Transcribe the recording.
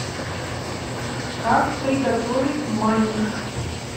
как приготовить манник